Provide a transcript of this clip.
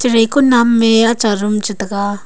rai konam mey acha room chitaga.